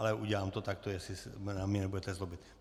Ale udělám to takto, jestli se na mě nebudete zlobit.